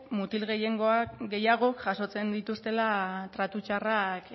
mutil gehiagok jasotzen dituztela tratu txarrak